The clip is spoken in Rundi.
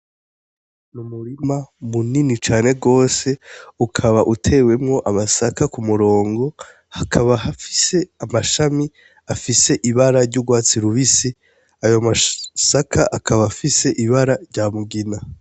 Umurima munini cane gose ukaba utewemwo amasaka ku murongo, hakaba hafise amashami afise ibara ry’urwatsi rubisi, ayo masaka akaba afise ibara rya mugina.